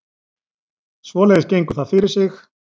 Svoleiðis gengur það fyrir sig